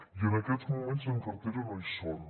i en aquests moments en cartera no hi són